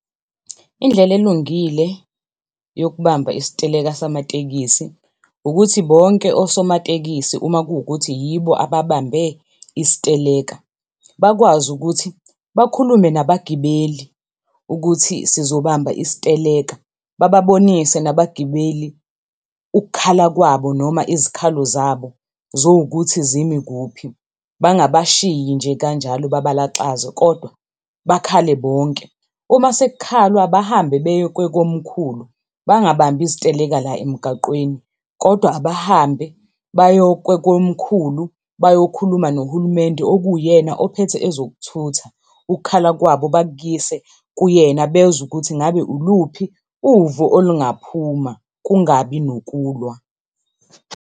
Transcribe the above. Indlela elungile yokubamba isiteleka samatekisi ukuthi bonke osomatekisi uma kuwukuthi yibo ababambe isiteleka bakwazi ukuthi bakhulume nabagibeli ukuthi sizobamba isiteleka, bababonise nabagibeli ukukhala kwabo noma izikhalo zabo zowukuthi zimi kuphi bangabashiyi nje kanjalo babalaxaze kodwa bakhale bonke. Uma sekukhalwa, bahambe beye kwekomkhulu bangabambi iziteleka la emgaqweni, kodwa abahambe baye kwekomkhulu bayokhuluma nohulumende okuyena ophethe ezokuthutha. Ukukhala kwabo bakuyise kuyena bezwe ukuthi ngabe iluphi uvo olungaphuma kungabi nokulwa